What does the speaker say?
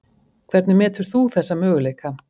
Hvernig metur þú þessa möguleika?